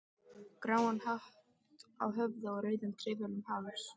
gráan hatt á höfði og rauðan trefil um háls.